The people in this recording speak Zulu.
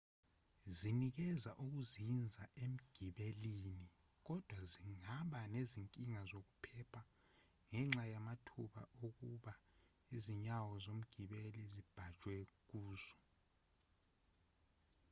zinikeza ukuzinza emgibelini kodwa zingaba nezinkinga zokuphepha ngenxa yamathuba okuba izinyawo zomgibeli zibhajwe kuzo